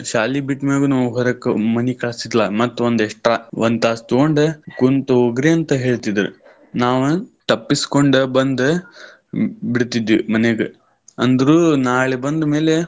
ಶಾಲಿ ಬಿಟ್ಟ್ ಮ್ಯಾಗುನೂ ನಾವ್ ಹೊರಕ್ ಮನಿ ಕಳಿಸ್ತಿರ್ಲಿಲ್ಲ ಮತ್ತ್ ಒಂದ್ extra ಒಂದ್ ತಾಸ್ ತಗೊಂಡ. ಕುಂತ್ಹೋಗ್ರಿ ಅಂತ ಹೇಳ್ತಿದ್ರ್. ನಾವ ತಪ್ಪಿಸ್ಕೊಂಡ್ ಬಂದ್ ಬಿಡ್ತಿದ್ವಿ ಮನಿಗ್ ಅಂದ್ರು ನಾಳೆ ಬಂದ್ಮೇಲೆ.